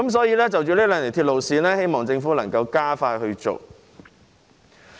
因此，就這兩條鐵路線，我們希望政府能夠加快處理。